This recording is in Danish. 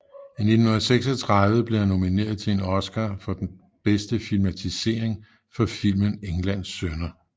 I 1936 blev han nomineret til en Oscar for bedste filmatisering for filmen Englands sønner